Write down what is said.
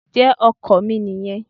Ǹjẹ́ ọkọ̀ mi nìyẹn.